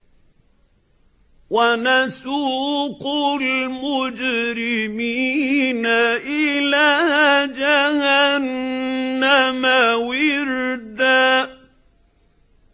وَنَسُوقُ الْمُجْرِمِينَ إِلَىٰ جَهَنَّمَ وِرْدًا